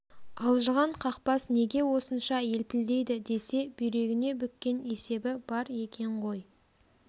алжыған қақпас неге осынша елпілдейді десе бүйрегіне бүккен есебі бар екен ғой